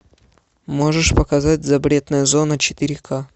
можешь показать запретная зона четыре ка